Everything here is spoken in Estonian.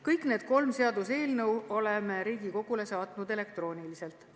Kõik need kolm seaduseelnõu oleme Riigikogule saatnud elektrooniliselt.